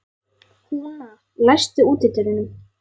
Húna, læstu útidyrunum.